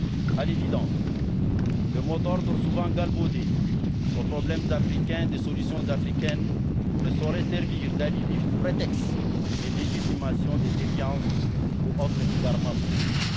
À l'évidence, le mot d'ordre, souvent galvaudé, aux problèmes africains, des solutions africaines ne saurait servir d'alibi ou de prétexte de légitimation des déviances ou autres égarements politiques.